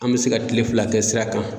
An mi se ka kile fila kɛ sira kan